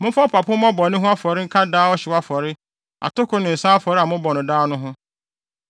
Momfa ɔpapo mmɔ bɔne ho afɔre nka daa ɔhyew afɔre, atoko ne nsa afɔre a mobɔ no daa no ho.